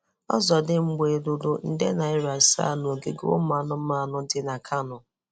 Ọzọdịmgba eloro nde naịra asaa n’ogige ụmụ anụmanụ dị na Kano?